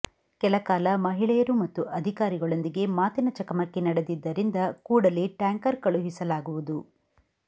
ಕೆಲ ಕಾಲ ಮಹಿಳೆಯರು ಮತ್ತು ಅಧಿಕಾರಿಗಳೊಂದಿಗೆ ಮಾತಿನ ಚಕಮಕಿ ನಡೆದಿದ್ದರಿಂದ ಕೂಡಲೇ ಟ್ಯಾಂಕರ್ ಕಳುಹಿಸಲಾಗುವುದು